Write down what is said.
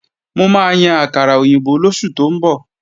Mo máa yan àkàrà òyìnbó lóṣù tó ń bọ̀